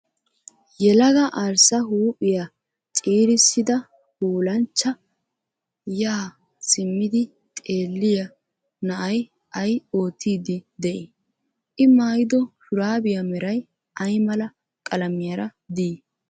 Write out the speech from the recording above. Yelaga arssa huuphiya ciirissida puulanchcha yaa simmidi xeelliya na'ay ayi oottiiddi de'ii? I mayyido shuraabiya meray ayi mala qalamiyara dii?